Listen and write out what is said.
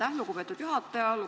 Aitäh, lugupeetud juhataja!